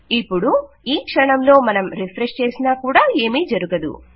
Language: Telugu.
ఇపుడు ఈ క్షణంలో మనం రిఫ్రెష్ చేసినా కూడా ఏమీ జరగదు